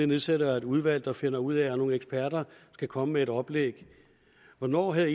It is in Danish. nedsætter et udvalg der finder ud af og nogle eksperter skal komme med et oplæg hvornår havde